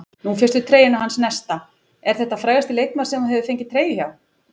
Nú fékkstu treyjuna hans Nesta, er þetta frægasti leikmaðurinn sem þú hefur fengið treyju hjá?